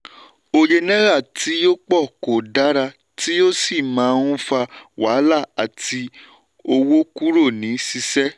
òye náírà tí ó pọ̀ kò dára tí ó sì má ń fà wàhálà àti owó kúrò ní ṣíṣe.